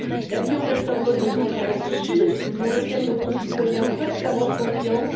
L'avion reste un mode de transport sûr dans lequel nos concitoyens peuvent avoir confiance.